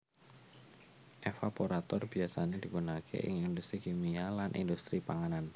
Evaporator biyasane digunakake ing industri kimia lan industri panganan